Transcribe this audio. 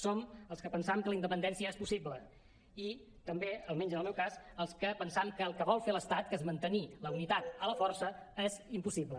som els que pensam que la independència és possible i també almenys en el meu cas els que pensam que el que vol fer l’estat que és mantenir la unitat a la força és impossible